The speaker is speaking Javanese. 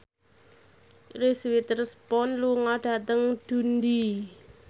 Reese Witherspoon lunga dhateng Dundee